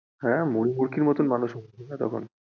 হ্যাঁ মুড়ি মুরকির মতো মানুষ মরছিলো তখন।